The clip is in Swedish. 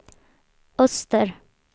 öster